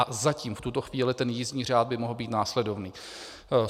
A zatím v tuto chvíli ten jízdní řád by mohl být následovný: